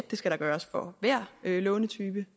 det skal der gøres for hver lånetype